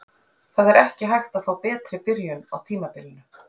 Það er ekki hægt að fá betri byrjun á tímabilinu.